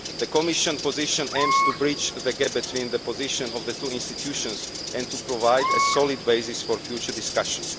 The Commission position aims to breach the gap between the positions of the two institutions and to provide a solid basis for future discussion.